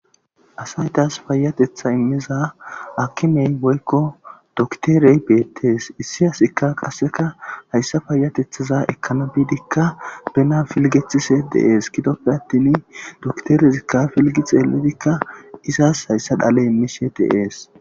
Asatas fayatetha immiza akimey woykko dokterey beettees issi asikka qasseka hayssa fayatethaza ekkana biidikka bena filgethise deees gidoppe attin dokterezikka filgi xeeledikka izaas hayssa dhale immishe deees.